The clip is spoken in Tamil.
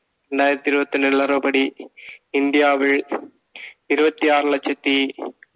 ரெண்டாயிரத்தி இருபத்தி ஒண்ணு நிலவர படி இந்தியாவில் இருபத்தி ஆறு லட்சத்தி